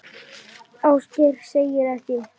Ásgeir segir ekkert.